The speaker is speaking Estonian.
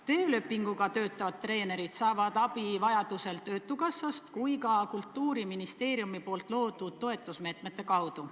Töölepinguga töötavad treenerid saavad abi vajadusel nii töötukassast kui ka Kultuuriministeeriumi loodud toetusmeetmete kaudu.